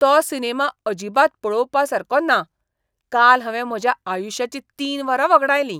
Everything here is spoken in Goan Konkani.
तो सिनेमा अजिबात पळोवपासारको ना. काल हांवें म्हज्या आयुश्याचीं तीन वरां वगडायलीं.